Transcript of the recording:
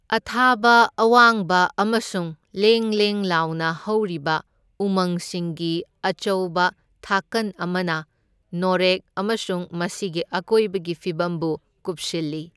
ꯑꯊꯥꯕ ꯑꯋꯥꯡꯕ ꯑꯃꯁꯨꯡ ꯂꯦꯡ ꯂꯦꯡ ꯂꯥꯎꯅ ꯍꯧꯔꯤꯕ ꯎꯃꯪꯁꯤꯡꯒꯤ ꯑꯆꯧꯕ ꯊꯥꯀꯟ ꯑꯃꯅ ꯅꯣꯔꯦꯛ ꯑꯃꯁꯨꯡ ꯃꯁꯤꯒꯤ ꯑꯀꯣꯏꯕꯒꯤ ꯐꯤꯚꯝꯕꯨ ꯀꯨꯞꯁꯤꯜꯂꯤ꯫